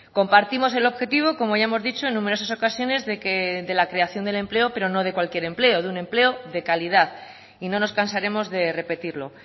compartimos el objetivo como ya hemos dicho en numerosas ocasiones de la que creación del empleo pero no de cualquier empleo de un empleo de calidad y no nos cansaremos de repetirlo